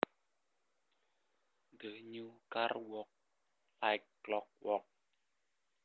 The new car worked like clockwork